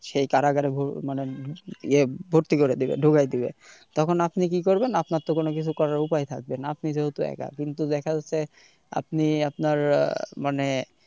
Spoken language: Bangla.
সেই কারাগারে মানে ইয়ে ভর্তি করে দিবে ঢুকাই দিবে তখন আপনি কি করবেন আপনার তো কোনকিছু করার উপায় থাকবেনা আপনি যেহেতু একা কিন্তু দেখা যাচ্ছে আপনি আপনার আহ মানে,